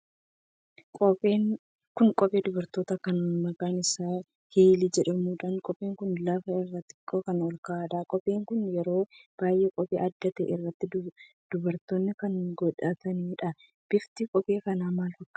Kun kophee durbartoota kan maqaan isaa Hiilii jedhamuudha. Kopheen kun lafa irraa xiqqoo kan olka'uudha. Kopheen kun yeroo baay'ee qophii adda ta'e irratti dubarooti kan godhataniidha. Bifti kophee kanaa maal fakkaata?